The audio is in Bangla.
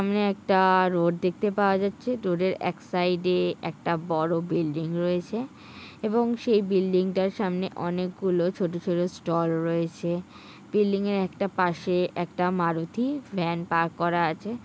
সামনে একটা-আ রোড দেখতে পাওয়া যাচ্ছে রোডের এক সাইডে একটা বড়ো বিল্ডিং রয়েছে এবং সেই বিল্ডিং -টার সামনে অনেকগুলো ছোট ছোট স্টল রয়েছে বিল্ডিং -এর একটা পাশে একটা মারুতি ভ্যান পার্ক করা আছে।